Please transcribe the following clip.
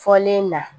Fɔlen na